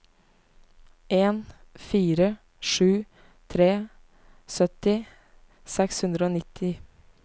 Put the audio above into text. en fire sju tre sytti seks hundre og nitti